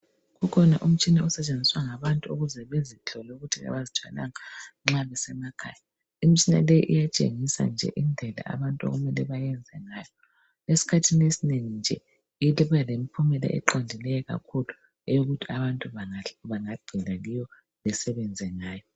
Ukhona umtshina osetshenziswa ngabantu ukuze bezihlole ukuthi abazithwalanga nxa besemakhaya. Imitshina leyi iyatshengisa nje indlela abantu okumele bayenze ngayo. Esikhathini esinengi nje iba lempumela eqondileyo kakhulu eyokuthi abantu bangagxila kiyo besenze ngayo.